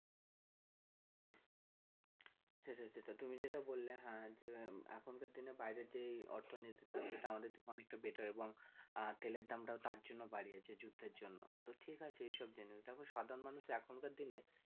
যেটা তুমি যেটা বললে হ্যাঁ যে এখন কার দিনে বাইরে যে অর্থনীতির তো সেটা আমাদের থেকে অনেক টা better এবং তেলের দাম টাও তার জন্য বাড়িয়েছে যুদ্ধের জন্য তো ঠিক আছে এসব জিনিস দেখো সাধারণ মানুষ এখনকার দিনে